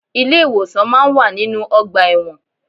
Ilé ìwòsàn máa ń wà nínú ọgbà ẹ̀wọ̀n.